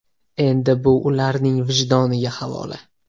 Endi bu ularning vijdoniga havola.